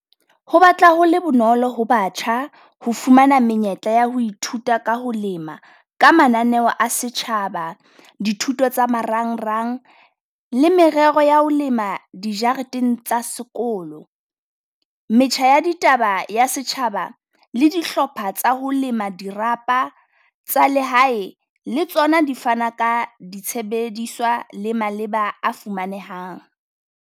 Ho batla ho le bonolo ho batjha ho fumana menyetla ya ho ithuta ka ho lema ka mananeo a setjhaba, dithuto tsa marangrang le merero ya ho lema dijareteng tsa sekolo. Metjha ya ditaba ya setjhaba le dihlopha tsa ho lema dirapa tsa lehae, le tsona di fana ka ditshebediswa le maleba a fumanehang.